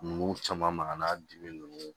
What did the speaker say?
Nunnu caman maga n'a dimi nunnu